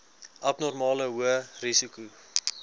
abnormale hoë risiko